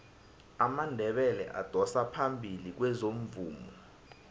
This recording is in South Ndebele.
amandebele adosa phambili kwezomvumo